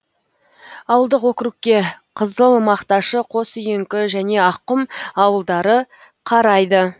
ауылдық округке қызылмақташы қосүйеңкі және аққұм ауылдары қарайды